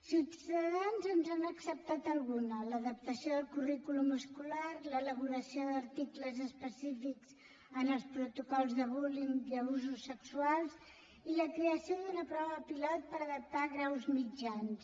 ciutadans ens n’ha acceptat alguna l’adaptació del currículum escolar l’elaboració d’articles específics en els protocols de bullyingprova pilot per adaptar graus mitjans